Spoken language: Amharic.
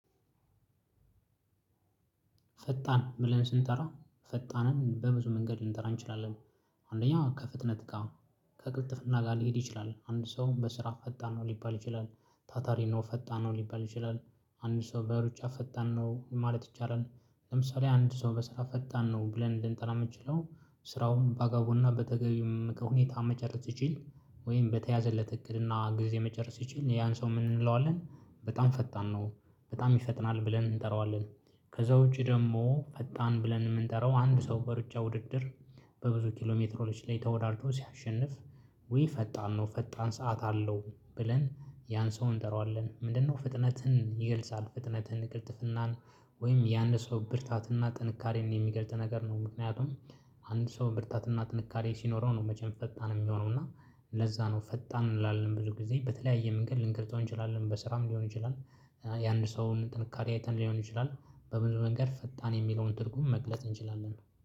ፈጣን ብለን ስንጠራ ፈጣንን በብዙ መንገድ ልንጠራ እንችላለን። አንደኛው ከፍትነት ጋር ከቅልጥፍና ጋር ሊሄድ ይችላል አንድ ሰውም በስራ ፈጣን ነው ሊባል ይችላል። ታታሪ ነው ፈጣን ነው ሊባል ይችላል። አንድ ሰው በሩጫ ፈጣን ነው ማለት ይቻላል። ለምሳሌ አንድ ሰው በስራ ፈጣን ነው ብለን እንድንጠራ የምችለው ስራውን ባጋቡና በተገቢው ሁኔታ መጨረስ ሲችል። ወይም በተያዘለት እቅድና ጊዜ መጨረስ ሲችል ያን ሰው ምን እንለዋለን? በጣም ፈጣን ነው። በጣም ይፈጥናል ብለን እንጠራዋለን። ከዛ ውጪ ደግሞ ፈጣን ብለን የምንጠራው አንድ ሰው በሩጫ ውድድር በብዙ ኪሎሜትሮች ላይ ተወዳድሮ ሲያሸንፍ። ውይ ፈጣን ነው ፈጣን ሰዓት አለው ብለን ያን ሰው እንጠራዋለን። ምንድነው ፍጥነትን ይገልጻል? ፍጥነትን ቅልጥፍናን ወይም ያንን ሰው ብርታትና ጥንካሬን የሚገልጥ ነገር ነው። ምክንያቱም አንድ ሰው ብርታትና ጥንካሬ ሲኖረው ነው። መቼም ፈጣን የሚሆነው እና ለዛ ነው ፈጣን እንላለን ብዙ ጊዜ በተለያየ መንገድ ልንገልፅው እንችላለን። በስራም ሊሆን ይችላል። የአንድ ሰውን ጥንካሬ አይተን ሊሆን ይችላል። በምንድነው እንዲ ፈጣን የሚለውን ትርጉም መግለጽ እንችላለን